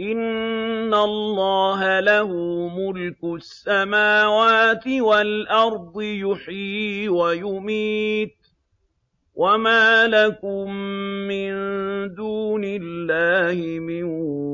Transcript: إِنَّ اللَّهَ لَهُ مُلْكُ السَّمَاوَاتِ وَالْأَرْضِ ۖ يُحْيِي وَيُمِيتُ ۚ وَمَا لَكُم مِّن دُونِ اللَّهِ مِن